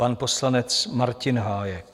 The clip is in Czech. Pan poslanec Martin Hájek.